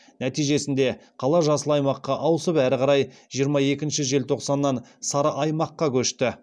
нәтижесінде қала жасыл аймаққа ауысып әрі қарай жиырма екінші желтоқсаннан сары аймаққа көшті